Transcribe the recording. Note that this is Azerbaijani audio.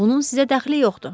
Bunun sizə dəxli yoxdur.